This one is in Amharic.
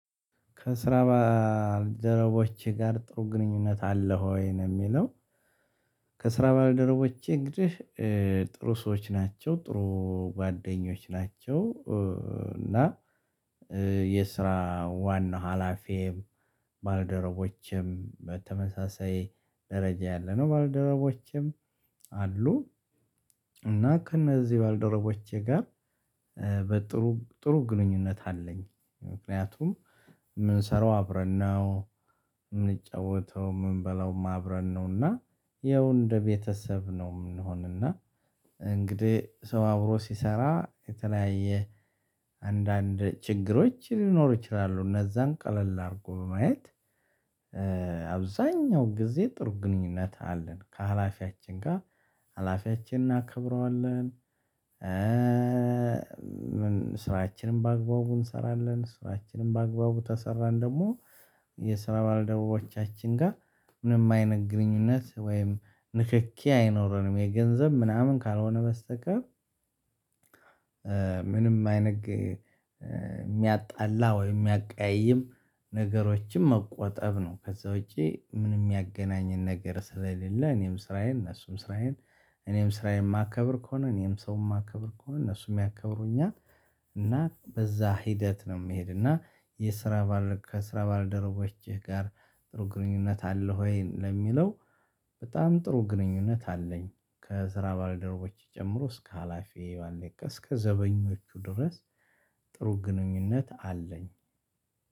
ከስራ ባደረቦቼ ጋር ጥሩ ግንኙነት አለው ወይ ነው? የሚለው። ከስራ ባለደረቦቼ እንግዲህ ጥሩ ሰዎች ናቸው፣ ጥሩ ጓደኞች ናቸው። እና የስራ ዋና ሀላፊ ባለደረቦችም በተመሳሳይ ደረጃ ያለነው ባልደረቦችም አሉ። እና ከእነዚህ ባለደረቦቼ ጋር በጥሩ፣ ጥሩ ግንኙነት አለኝ። ምክንያቱም የምንሰራው አብረን ነው፣ ምንበላውም አብረን ነውና ያው እንደ ቤተሰብ ነው የምንሆንና እንግዲህ ሰው አብሮ ሲሰራ የተለያየ አንዳንድ ችግሮች ሊኖሩ ይችላሉ። እነዛን ቀለል አድርጎ በማየት አብዛኛው ጊዜ ጥሩ ግንኙነት አለን። ከሀላፊያችን ጋር፣ ሀላፊያችን እናከብረዋለን፣ ስራችንም በአግባቡ እንሰራለን፣ ስራችንም በአግባቡ ከሰራን ደግሞ የስራ ባለደቡቦቻችን ጋር ምንም አይነት ግንኙነት ወይም ንክኪ አይኖረንም። የገንዘብ ምናምን ካልሆነ በስተቀር ምንም አይነት የሚያጣላ ወይ የሚያቀያይም ነገሮችን መቆጠብ ነው። ከዛ ውጪ ምንም የሚያገናኝን ነገር ስለሌለ እኔም ስራዬን፣ እነሱም ስራዬን፣ እኔም ስራዬን የማከብር ከሆነ፣ እኔም ሰው የማከብር ከሆነ እነሱም ያከብሩኛል። እና በዛ ሂደት ነው የሚሄድና የስራ፣ ከስራ ባለደረቦችህ ጋር ጥሩ ግንኙነት አለው ወይ? ለሚለው በጣም ጥሩ ግንኙነት አለኝ። ከስራ ባልደሮቦቼ ጨምሮ እስከ ሀላፊ፣ ባለ፣ እስከ ዘበኞቹ ድረስ ጥሩ ግንኙነት አለኝ።